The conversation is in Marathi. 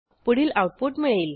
पुढील आऊटपुट मिळेल